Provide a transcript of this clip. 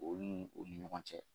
Olu ni ɲɔgɔn cɛ